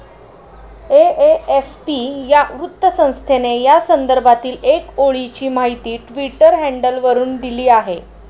AFP या वृत्तसंस्थेने या संदर्भातील एक ओळीची माहिती ट्विटर हँडलवरून दिली आहे.